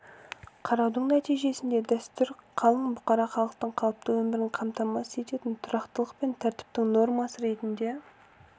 қараудың нәтижесінде дәстүр қалың бұқара халықтың қалыпты өмірін қамтамасыз ететін тұрақтылык пен тәртіптің нормасы ретінде